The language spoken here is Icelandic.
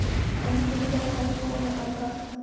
Enginn þeirra hafði komið þangað.